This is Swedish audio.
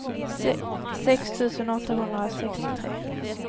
sex tusen åttahundrasextiotre